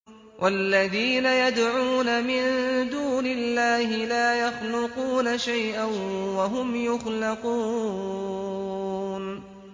وَالَّذِينَ يَدْعُونَ مِن دُونِ اللَّهِ لَا يَخْلُقُونَ شَيْئًا وَهُمْ يُخْلَقُونَ